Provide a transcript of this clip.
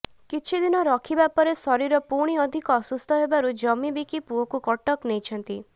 କିଛିଦିନ ରଖିବା ପରେ ଶରୀର ପୁଣି ଅଧିକ ଅସୁସ୍ଥ ହେବାରୁ ଜମି ବିକି ପୁଅକୁ କଟକ ନେଇଛନ୍ତି